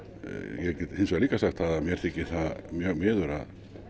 ég get hins vegar líka sagt að mér þykir það mjög miður að